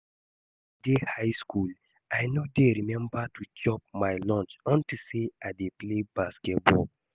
Wen I dey high school I no dey remember to chop my lunch unto say I dey play basketball